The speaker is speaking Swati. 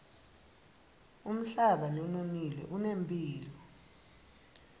umhlaba lononile unemphilo